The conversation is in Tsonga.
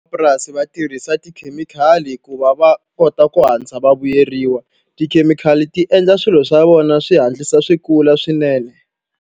va tirhisa tikhemikhali ku va va kota ku hatlisa va vuyeriwa. Tikhemikhali ti endla swilo swa vona swi hatlisa swi kula swinene.